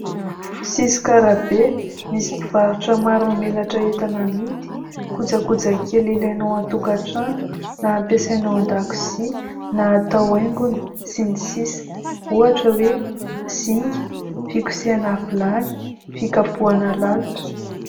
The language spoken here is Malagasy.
Sisin-karabe, misy mpivarotra maro mamelatra entana amidy. Kojakoja kely ilainao ao an-tokatrano, na ampiasaina ao an-dakozia, na atao haingony sy ny sisa. Ohatra hoe : zinga fikosehana vilany, fikapohana lalitra, ...